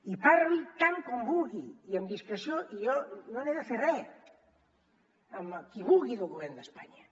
i parli tant com vulgui i amb discreció jo no n’he de fer res amb qui vulgui del govern d’espanya